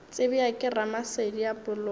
tsebja ke ramasedi a poloko